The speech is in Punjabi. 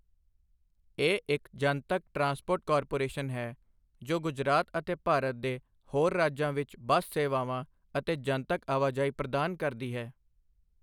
ਇਹ ਇੱਕ ਜਨਤਕ ਟਰਾਂਸਪੋਰਟ ਕਾਰਪੋਰੇਸ਼ਨ ਹੈ ਜੋ ਗੁਜਰਾਤ ਅਤੇ ਭਾਰਤ ਦੇ ਹੋਰ ਰਾਜਾਂ ਵਿੱਚ ਬੱਸ ਸੇਵਾਵਾਂ ਅਤੇ ਜਨਤਕ ਆਵਾਜਾਈ ਪ੍ਰਦਾਨ ਕਰਦੀ ਹੈ।